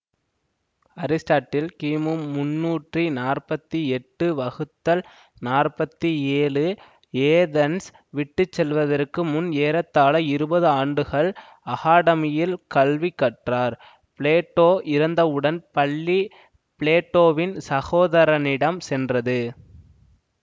Aristotle கிமு முண்ணூற்றி நாற்பத்தி எட்டு வகுத்தல் நாற்பத்தி ஏழு ஏதென்ஸ் விட்டு செல்வதற்கு முன் ஏறத்தாழ இருபது ஆண்டுகள் அகாடமியில் கல்வி கற்றார்பிளேட்டோ இறந்தவுடன் பள்ளி பிளேட்டோவின் சகோதரனிடம் சென்றது